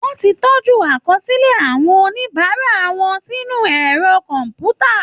Wọ́n ti tọ́jú àkọsílẹ̀ àwọn oníbàárà wọn sínú ẹ̀rọ kọ̀m̀pútà